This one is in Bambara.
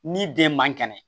Ni den man kɛnɛ